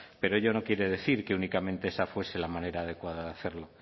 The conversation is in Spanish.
pero ello no quiere decir que únicamente esa fuese la manera adecuada de hacerlo